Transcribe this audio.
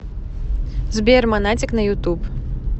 сбер монатик на ютуб